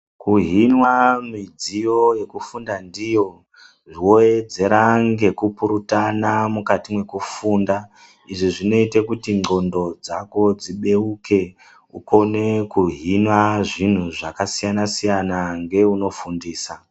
Kuhinwa midziyo yekufunda ndiyo, wowedzera ngekupurutana mukati mwekufunda izvo zvinoite kuti ndxondo dzako dzibeuke ukone ukone kuhinwa zvinhu zvakasiyana-siyana ngeunofundisa.